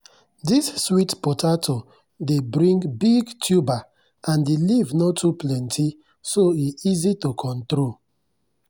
this sweet potato dey bring big tuber and the leaf no too plenty so e easy to control.